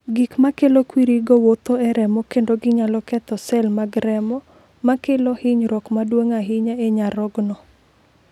"Gik ma kelo kwirigo wuotho e remo kendo ginyalo ketho sel mag remo, ma kelo hinyruok maduong’ ahinya e nyarogno."